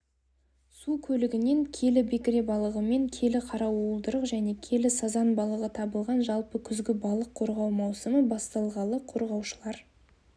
су көлігінен келі бекіре балығы мен келі қара уылдырық және келі сазан балығы табылған жалпы күзгі балық қорғау маусымы басталғалы қорғаушылар